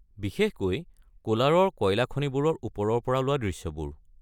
বিশেষকৈ কোলাৰৰ কয়লা খনিবোৰৰ ওপৰৰ পৰা লোৱা দৃশ্যবোৰ।